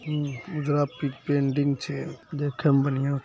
हूं ऊजरा पेंटिंग छै देखे में बढ़िया --